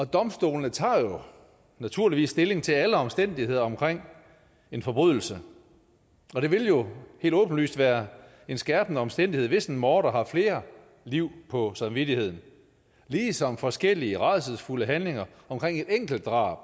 domstolene tager jo naturligvis stilling til alle omstændigheder omkring en forbrydelse og det vil jo helt åbenlyst være en skærpende omstændighed hvis en morder har flere liv på samvittigheden ligesom forskellige rædselsfulde handlinger omkring et enkelt drab